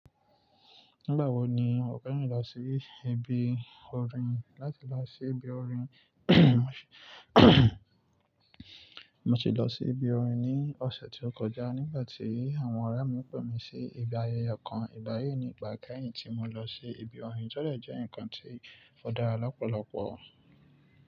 Nígbàwọ́ ni o fẹ́ran lọ sí ibi orin láti lọ sí ibi orin mo ti lọ sí ibi orin ní ọ̀sẹ̀ tí ó kọjá nígbà tí àwọn ọ̀rẹ́ mi pè mí sí ibi ayẹyẹ kan. Ìgbáyi ni ìgbà kẹ́yìn tí mo lọ sí ibi orin, ó de jẹ́ ǹkan tí ó dára lọ́pọ̀lọpọ̀.